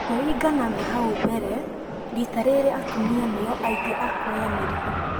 kũlingana na hau mbere, rita rĩrĩ atumia nĩyo aingĩ a kwoya mĩrigo